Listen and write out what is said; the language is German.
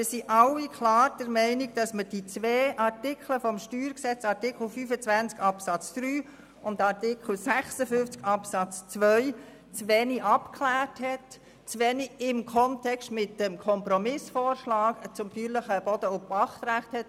Wir sind also alle klar der Meinung, dass man die zwei Artikel des StG, nämlich Artikel 25 Absatz 3 und Artikel 56 Absatz 2, zu wenig abgeklärt und zu wenig im Kontext mit dem Kompromissvorschlag zum BPG angeschaut hat.